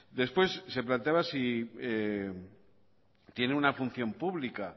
después se planteaba si tiene una función pública